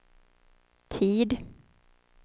tid